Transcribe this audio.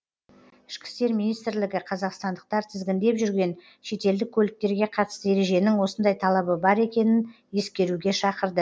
ішкі істер министрлігі қазақстандықтар тізгіндеп жүрген шетелдік көліктерге қатысты ереженің осындай талабы бар екенін ескеруге шақырды